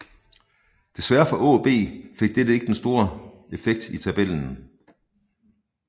Desværre for AaB fik dette ikke den store effekt i tabellen